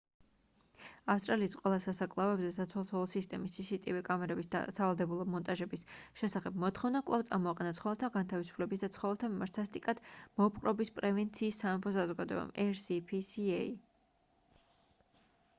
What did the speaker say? ავსტრალიის ყველა სასაკლაოებზე სათვალთვალო სისტემის cctv კამერების სავალდებულო მონტაჟების შესახებ მოთხოვნა კვლავ წამოაყენა ცხოველთა განთავისუფლების და ცხოველთა მიმართ სასტიკად მოპყრობის პრევენციის სამეფო საზოგადოებამ rspca